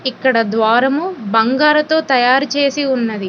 ఇక్కడ ద్వారము బంగారతో తయారు చేసి ఉన్నది.